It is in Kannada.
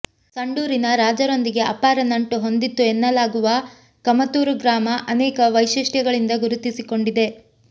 ಸಂಡೂರಿನ ರಾಜರೊಂದಿಗೆ ಅಪಾರ ನಂಟು ಹೊಂದಿತ್ತು ಎನ್ನಲಾಗುವ ಕಮತೂರು ಗ್ರಾಮ ಅನೇಕ ವೈಶಿಷ್ಟ್ಯಗಳಿಂದ ಗುರುತಿಸಿಕೊಂಡಿದೆ